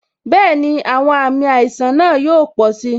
Bẹẹni, àwọn àmì àìsàn náà yóò pò si